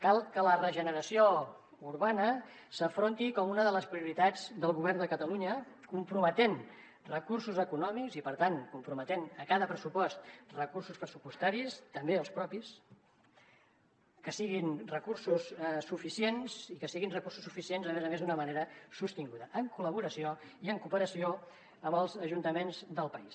cal que la regeneració urbana s’afronti com una de les prioritats del govern de catalunya comprometent hi recursos econòmics i per tant comprometent hi a cada pressupost recursos pressupostaris també els propis que siguin recursos suficients i que siguin recursos suficients a més a més d’una manera sostinguda en col·laboració i en cooperació amb els ajuntaments del país